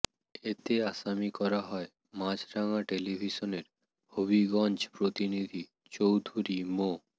এতে আসামি করা হয় মাছরাঙা টেলিভিশনের হবিগঞ্জ প্রতিনিধি চৌধুরী মো